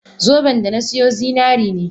Zoben da na siyo zinari ne.